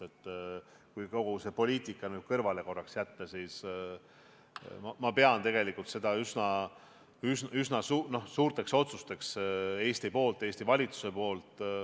Kui kogu poliitika korraks kõrvale jätta, siis tegelikult pean ma neid Eesti ja valitsuse jaoks üsna suurteks otsusteks.